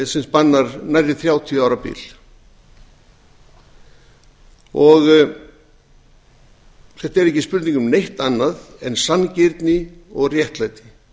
sem spannar nærri þrjátíu ára bil þetta er ekki spurning um neitt annað en sanngirni og réttlæti